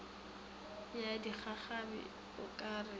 ya digagabi o ka re